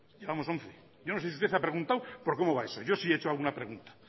llevamos once yo no sé si usted ha preguntado por cómo va eso yo sí he hecho alguna pregunta